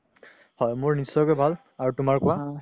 হয় মোৰ নিশ্চয়কে ভাল আৰু তুমাৰ কুৱা